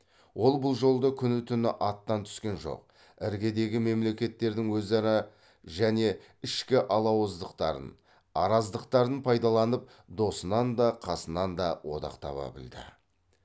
ол бұл жолды күні түні аттан түскен жоқ іргедегі мемлекеттердің өзара және ішкі алауыздықтарын араздықтарын пайдаланып досынан да қасынан да одақ таба білді